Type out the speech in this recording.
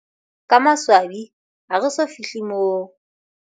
Ka maswabi, ha re so fi hle moo.